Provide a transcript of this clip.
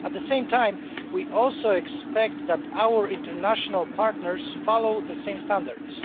At the same time, we also expect that our international partners follow the same standards.